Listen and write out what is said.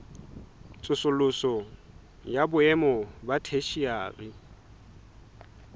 tsosoloso ya boemo ba theshiari